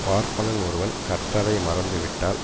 பார்ப்பனன் ஒருவன் கற்றதை மறந்து விட்டால்